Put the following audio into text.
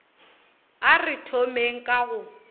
a re thomeng ka go